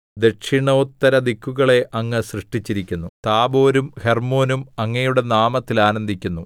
ദക്ഷിണോത്തരദിക്കുകളെ അങ്ങ് സൃഷ്ടിച്ചിരിക്കുന്നു താബോരും ഹെർമ്മോനും അങ്ങയുടെ നാമത്തിൽ ആനന്ദിക്കുന്നു